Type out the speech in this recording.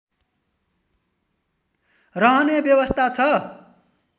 रहने व्यवस्था छ